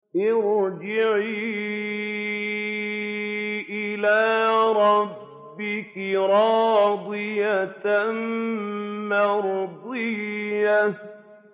ارْجِعِي إِلَىٰ رَبِّكِ رَاضِيَةً مَّرْضِيَّةً